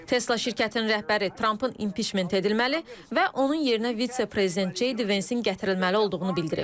Tesla şirkətinin rəhbəri Trampın impiçment edilməli və onun yerinə vitse-prezident Ceyd Vensin gətirilməli olduğunu bildirib.